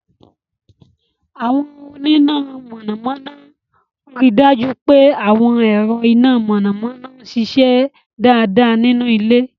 Àwọn onímọ̀ iná mọ̀nàmọ́ná ń rí i dájú pé àwọn ẹ̀rọ iná mọ̀nàmọ́ná ń ṣiṣẹ́ dáadáa nínú ilé.